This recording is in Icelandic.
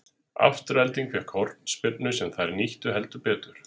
Afturelding fékk því hornspyrnu sem þær nýttu heldur betur.